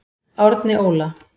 Árni Óla.